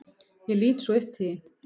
Ég lít svo upp til þín.